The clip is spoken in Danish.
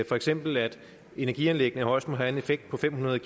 for eksempel at energianlæggene højst må have en effekt på fem hundrede